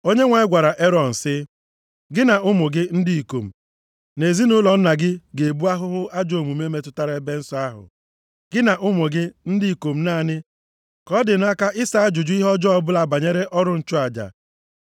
Onyenwe anyị gwara Erọn sị, “Gị, na ụmụ gị ndị ikom gị, na ezinaụlọ nna gị ga-ebu ahụhụ ajọ omume metụtara ebe nsọ ahụ. Gị na ụmụ gị ndị ikom naanị ka ọ dị nʼaka ịsa ajụjụ ihe ọjọọ ọbụla banyere ọrụ nchụaja.